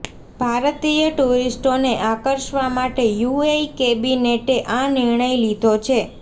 ભારતીય ટૂરિસ્ટોને આકર્ષવા માટે યૂએઇ કેબિનેટે આ નિર્ણય લીધો છે